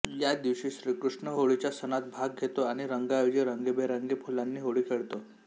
या दिवशी श्रीकृष्ण होळीच्या सणात भाग घेतो आणि रंगांऐवजी रंगीबेरंगी फुलांनी होळी खेळतो